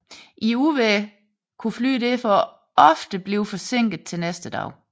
I uvejr kunne fly derfor ofte blive forsinket til næste dag